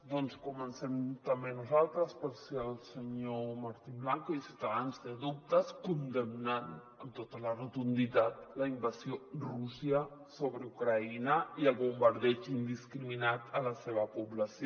doncs comencem també nosaltres per si el senyor martín blanco i ciutadans tenen dubtes condemnant amb tota la rotunditat la invasió de rússia sobre ucraïna i el bombardeig indiscriminat a la seva població